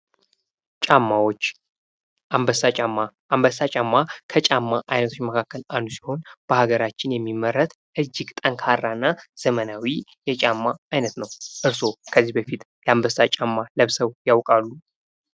ጫማዎች አንበሳ ጫማ አንበሳ ጫማ ከጫማ አይነቶች መካከል አንዱ ሲሆን በሃገራችን የሚመረት እጅግ ጠንካራ እና ዘመናዊ የጫማ አይነት ነው። እርሶ ከዚህ በፊት የአንበሳ ጫማ ለብሰው ያውቃሉ?